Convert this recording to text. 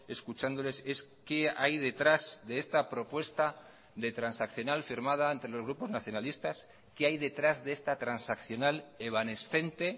escuchándoles es qué hay detrás de esta propuesta de transaccional firmada entre los grupos nacionalistas qué hay detrás de esta transaccional evanescente